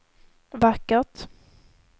vackert